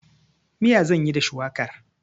Miya zan yi da shuwakar.